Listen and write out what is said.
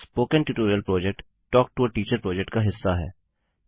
spoken tutorial project talk to a teacher project का हिस्सा है